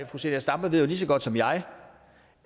fru zenia stampe ved jo lige så godt som jeg